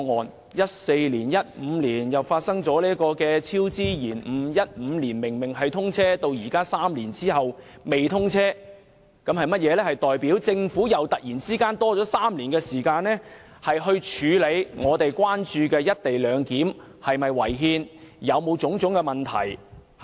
2014年、2015年發生超支、延誤 ，2015 年高鐵本應通車，到現在3年後仍然未通車，代表政府突然又多了3年時間，處理我們關注的"一地兩檢"是否違憲、有否導致種種問題。